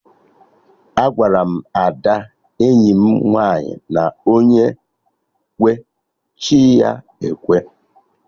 Agwaram Ada enyi m nwaanyị na onye kwee, chi ya ekwe